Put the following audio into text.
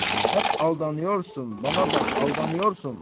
Həp aldanıyorsun, bana bax, aldanıyorsun.